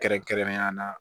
Kɛrɛnkɛrɛnnenya la